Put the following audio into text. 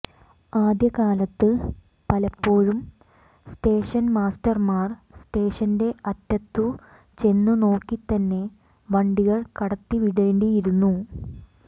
ആദ്യകാലത്ത് പലപ്പോഴും സ്റ്റേഷന്മാസ്റ്റർമാർ സ്റ്റേഷന്റെ അറ്റത്തു ചെന്നു നോക്കിത്തന്നെ വണ്ടികൾ കടത്തിവിടേണ്ടിയിരുന്നു